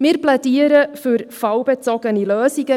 Wir plädieren für fallbezogene Lösungen.